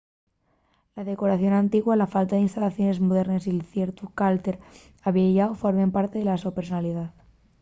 la decoración antigua la falta d'instalaciones modernes y ciertu calter avieyáu formen parte de la so personalidá